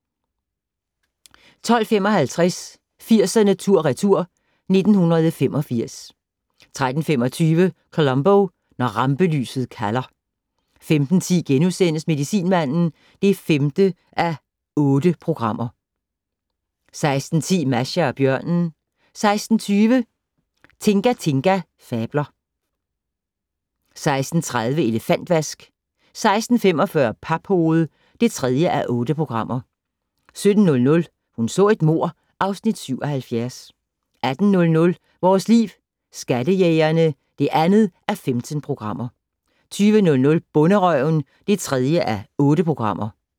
12:55: 80'erne tur/retur: 1985 13:25: Columbo: Når rampelyset kalder 15:10: Medicinmanden (5:8)* 16:10: Masha og bjørnen 16:20: Tinga Tinga fabler 16:30: Elefantvask 16:45: Paphoved (3:8) 17:00: Hun så et mord (Afs. 77) 18:00: Vores Liv: Skattejægerne (2:15) 20:00: Bonderøven (3:8)